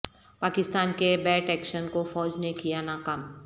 پاکستان کے BAT action کو فوج نے کیا ناکام